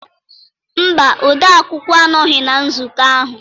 mba odeakwụkwọ anọghị na nzukọ ahụ